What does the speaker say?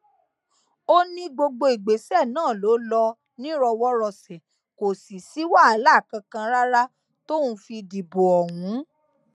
ó ní gbogbo ìgbésẹ náà ló lọ nírọwọrọsẹ kò sì sí wàhálà kankan rárá tóun fi dìbò òun